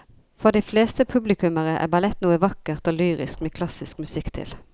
For de fleste publikummere er ballett noe vakkert og lyrisk med klassisk musikk til.